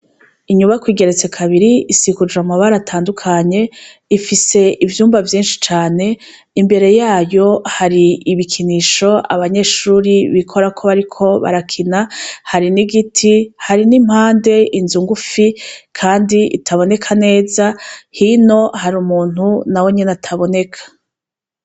Inyubako igeretse kabiri isiguje amabara atandukanye, ifise ivyumba vyishi cane ,imbere yayo hari ibikinisho abanyeshure bikorako bariko barakina, hari n'igiti, hari n'impande inzu ngufi kandi itaboneka neza, hino harumuntu, nawenyene ataboneka.